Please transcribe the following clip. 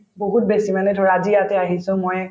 বহুত বেছি মানে ধৰা আজি ইয়াতে আহিছো মই